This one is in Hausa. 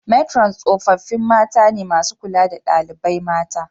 Metron tsofaffi mata ne masu kula da dalibai mata.